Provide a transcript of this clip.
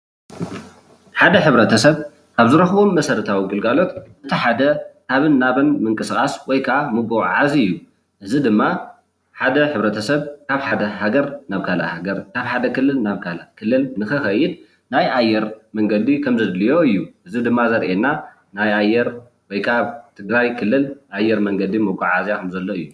ሓደ ሕ/ሰብ ኣብ ዝረክቦም መሰረታዊ ግልጋሎት እቲ ሓደ ካብን ናብን ምቅስቃስ ወይ ክዓ ምጉዕዓዝ እዩ፣ እዚ ድማ ሓደ ሕ/ሰብ ካብ ሃደ ሃገር ናብ ካሊእ ሃገር ካብ ሓደ ክልል ናብ ካሊእ ክልል ንክከይድ ናይ ኣየር መንገዲ ከም ዘድልዮ እዩ፣ እዚ ድማ ዘርእየና ናይ ኣየር ወይ ክዓ ትግራይ ክልል ኣየር መንገዲ መጓዓዓዝያ ከምዘሎ እዩ፡፡